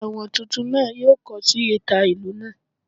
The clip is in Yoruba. Ewọn tuntun naa yoo kọ si ita ilu naa.